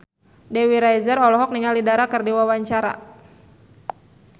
Dewi Rezer olohok ningali Dara keur diwawancara